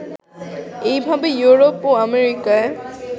এইভাবে ইউরোপ ও আমেরিকায়